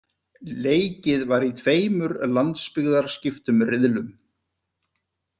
Leikið var í tveimur landsbyggðarskiptum riðlum.